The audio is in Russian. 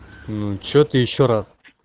ну что ты ещё раз